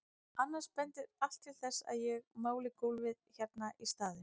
Annars bendir allt til þess að ég máli gólfið hérna í staðinn.